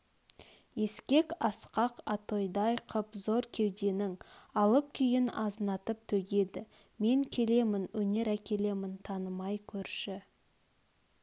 ескек асқақ атойдай қып зор кеуденің алып күйін азынатып төгеді мен келемін өнер әкелемін танымай көрші